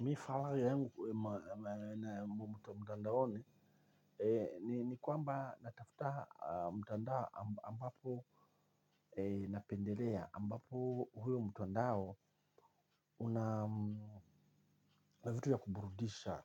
Mifarajo yangu na mtandaoni, ni kwamba natafuta mtandao ambapo napendelea ambapo huo mtandao una vitu ya kuburudisha